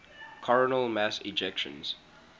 coronal mass ejections